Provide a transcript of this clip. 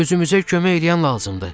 Özümüzə kömək eləyən lazımdır.